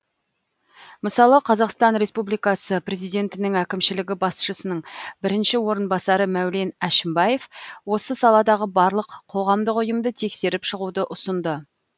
мысалы қазақстан республикасы президентінің әкімшілігі басшысының бірінші орынбасары мәулен әшімбаев осы саладағы барлық қоғамдық ұйымды тексеріп шығуды ұсынды